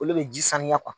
Olu bɛ ji saniya